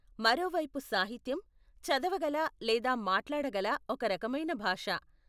మరోవైపు సాహిత్యం, చదవగల లేదా మాట్లాడగల ఒక రకమైన భాష.